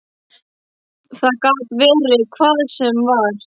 Það gat verið hvað sem var.